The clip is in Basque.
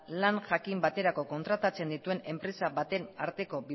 lan jakin baterako kontratatzen dituen enpresa baten arteko